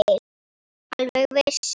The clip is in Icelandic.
Alveg viss.